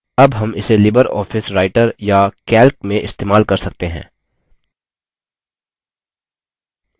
उदाहरणस्वरुप देखते हैं कि इसे लिबर ऑफिस writer में कैसे देख सकते हैं